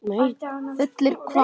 Fullir hvað.!?